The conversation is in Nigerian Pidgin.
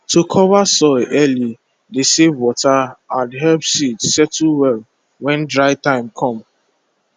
to cover soil early dey save water and help seed settle well when dry time com